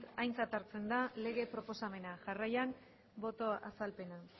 aintzat hartzen da lege proposamena jarraian boto azalpena